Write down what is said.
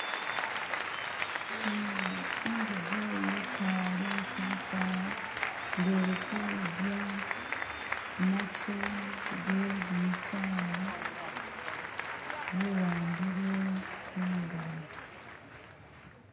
inguje yikale kubisaala nge eli kudya matu gejimisaala yiwambile kungaji